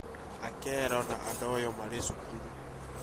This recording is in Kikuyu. Akelo na Adoyo marĩ cukuru